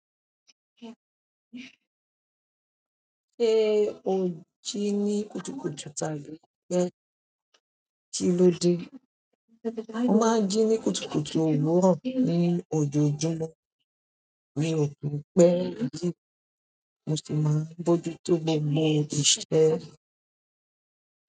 Ṣé o jí ní kùtùkùtù tàbí kí ló dé? Mo máa ń jí ní kùtùkùtù òwúrọ̀ ní ojojúmọ́ mio kin pe jí mosi máa ń mójútó gbogbo iṣẹ́.